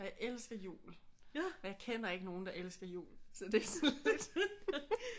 Og jeg elsker jul og jeg kender ikke nogen der elsker jul så det er sådan lidt